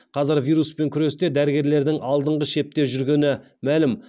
қазір вируспен күресте дәрігерлердің алдыңғы шепте жүргені мәлім